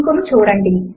link ను చూడండి